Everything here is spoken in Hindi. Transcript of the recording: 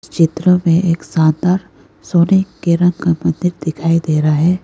चित्र में एक शानदार सोने के रंग का मंदिर दिखाई दे रहा है।